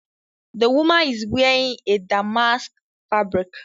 The woman is wearing a damask fabric